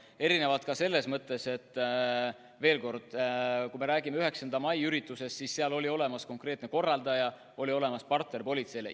Need erinevad selles mõttes, ma veel kordan, et kui me räägime 9. mai üritusest, siis seal oli olemas konkreetne korraldaja, oli olemas politsei jaoks partner.